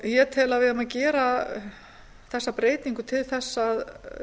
ég tel að við eigum að gera þessa breytingu til að